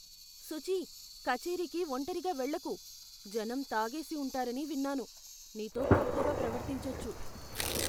సుచీ, కచేరీకి ఒంటరిగా వెళ్లకు. జనం తాగేసి ఉంటారని విన్నాను, నీతో తప్పుగా ప్రవర్తించొచ్చు.